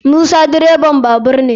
Musa direban babur ne.